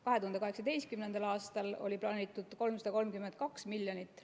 2018. aastal oli plaanitud 332 miljonit.